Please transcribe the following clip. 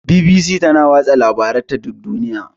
BBC tana watsa labaranta duk duniya.